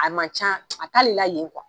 A ma ca a t'ale la yen